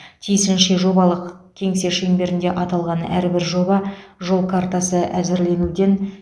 тиісінше жобалық кеңсе шеңберінде аталған әрбір жобаға жол картасы әзірленуден